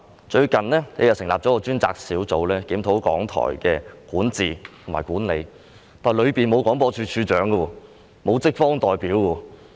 最近，政府成立了一個專責小組，檢討港台的管治和管理，但當中沒有廣播處長和職方代表。